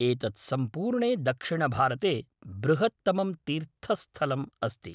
एतत् सम्पूर्णे दक्षिणभारते बृहत्तमं तीर्थस्थलम् अस्ति।